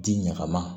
Di ɲaga ma